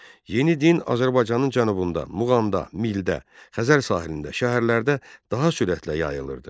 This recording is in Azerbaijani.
Yeni din Azərbaycanın cənubunda, Muğamda, Mildə, Xəzər sahilində, şəhərlərdə daha sürətlə yayılırdı.